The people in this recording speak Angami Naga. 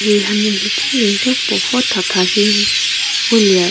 he hanu nhichumia yo puo vo tha tha di ngu lie.